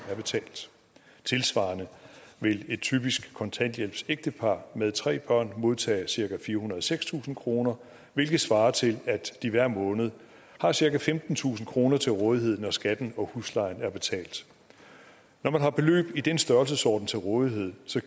er betalt tilsvarende vil et typisk kontanthjælpsægtepar med tre børn modtage cirka firehundrede og sekstusind kroner om hvilket svarer til at de hver måned har cirka femtentusind kroner til rådighed når skatten og huslejen er betalt når man har beløb i den størrelsesorden til rådighed